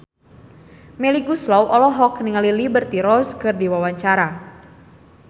Melly Goeslaw olohok ningali Liberty Ross keur diwawancara